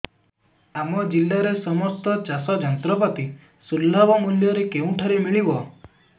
ଆମ ଜିଲ୍ଲାରେ ସମସ୍ତ ଚାଷ ଯନ୍ତ୍ରପାତି ସୁଲଭ ମୁଲ୍ଯରେ କେଉଁଠାରୁ ମିଳିବ